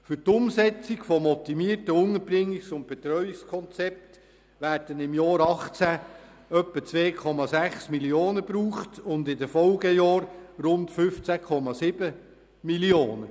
Für die Umsetzung des optimierten Unterbringungs- und Betreuungskonzepts werden im Jahr 2018 etwa 6,6 Mio. Franken benötigt und in den Folgejahren rund 15,7 Mio. Franken.